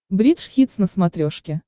бридж хитс на смотрешке